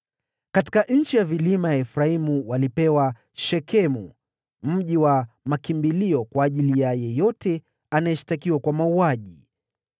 Katika nchi ya vilima ya Efraimu walipewa Shekemu (mji mkubwa wa makimbilio kwa yeyote anayeshtakiwa kwa mauaji) na Gezeri,